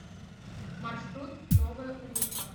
маршрут новая улыбка